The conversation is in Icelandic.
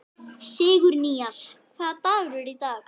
Sigurnýjas, hvaða dagur er í dag?